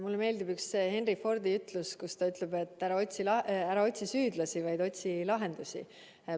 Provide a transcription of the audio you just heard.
Mulle meeldib Henry Fordi ütlus, et ära otsi süüdlasi, vaid otsi lahendusi.